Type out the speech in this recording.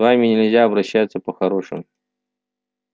с вами нельзя обращаться по-хорошему